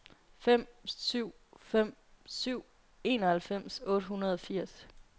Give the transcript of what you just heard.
fem syv fem syv enoghalvfems otte hundrede og firs